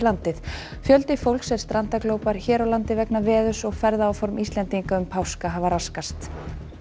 landið fjöldi fólks er strandaglópar hér á landi vegna veðurs og ferðaáform Íslendinga um páska hafa raskast